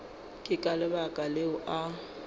ke ka lebaka leo a